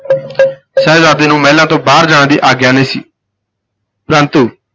ਸ਼ਹਿਜ਼ਾਦੇ ਨੂੰ ਮਹਿਲਾਂ ਤੋਂ ਬਾਹਰ ਜਾਣ ਦੀ ਆਗਿਆ ਨਹੀਂ ਸੀ ਪਰੰਤੂ